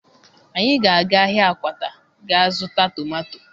Anyị ga-aga ahịa Akwata gaa zụta tomato